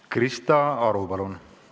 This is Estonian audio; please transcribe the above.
Krista Aru, palun!